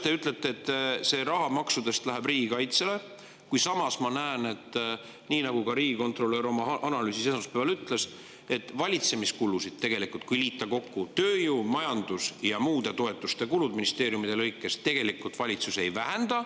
Te ütlete, et see osa maksudest läheb riigikaitsele, kuid ma näen, nii nagu ka riigikontrolör oma analüüsis esmaspäeval ütles, et valitsemiskulusid, kui liita kokku tööjõu‑, majandus‑ ja toetuste kulud ministeeriumide lõikes, valitsus tegelikult ei vähenda.